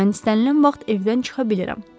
Mən istənilən vaxt evdən çıxa bilirəm.